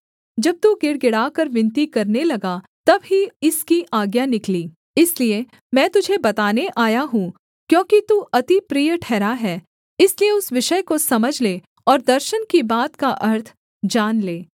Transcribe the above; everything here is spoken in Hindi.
जब तू गिड़गिड़ाकर विनती करने लगा तब ही इसकी आज्ञा निकली इसलिए मैं तुझे बताने आया हूँ क्योंकि तू अति प्रिय ठहरा है इसलिए उस विषय को समझ ले और दर्शन की बात का अर्थ जान ले